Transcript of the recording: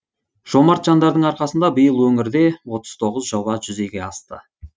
жомарт жандардың арқасында биыл өңірде отыз тоғыз жоба жүзеге асты